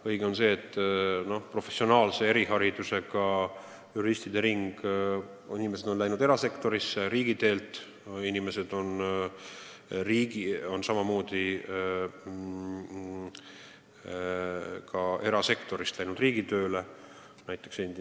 On õige, et professionaalidest eriharidusega juriste on riigitöölt erasektorisse läinud, aga samamoodi on inimesed erasektorist riigitööle läinud.